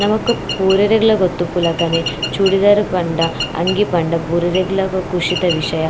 ನಮಕ್ ಪೂರೆರ್ಲಗ್ಲ ಗೊತ್ತಿಪ್ಪುಲಕನೆ ಚೂಡಿದಾರ್ ಪಂಡ ಅಂಗಿ ಪಂಡ ಪೂರೆರೆಗ್ಲ ಖುಷಿತ ವಿಷಯ.